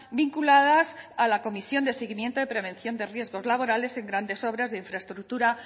vinculadas a la comisión de seguimiento de prevención de riesgos laborales en grandes obras de infraestructura